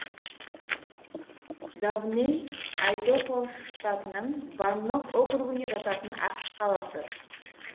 довнэй айдахо штатының баннок округіне жататын ақш қаласы